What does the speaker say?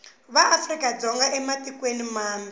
va afrika dzonga ematikweni mambe